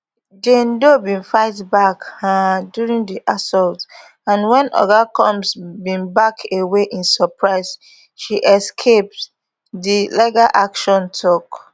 jane doe bin fight back um during di assault and wen oga combs bin back away in surprise she escape di legal action tok